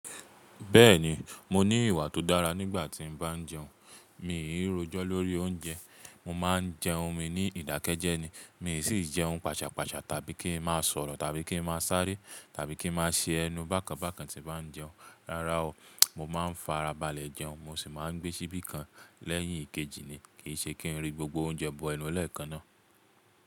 Bẹ́ẹ̀ni, mo ní ìwà tó dára nígbà tí n bá jẹun. Mì í rojọ́ lórí oúnjẹ. Mo máa ń jẹun mi ní ìdákẹ́jẹ́ ni. Mi sì ń jẹun pàṣàpàṣà tàbí kí ń má sọ̀rọ̀ tàbí kí ń má sáré tàbí kí ń má ṣe ẹnu bákan bákan tí bá ń jẹun. Rárá o. Mo máa ń fara balẹ̀ jẹun, mo sì máa ń gbé síbí kan lẹ́yìn ìkejì ni. Kì í ṣe kí ń rí gbogbo oúnjẹ bọ ẹnu lẹ́ẹ̀kan náà.